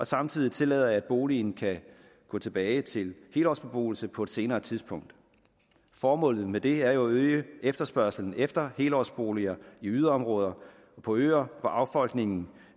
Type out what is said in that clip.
samtidig tillader at boligen kan gå tilbage til helårsbeboelse på et senere tidspunkt formålet med det er jo at øge efterspørgslen efter helårsboliger i yderområder og på øer hvor affolkningen